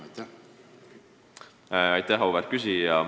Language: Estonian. Aitäh, auväärt küsija!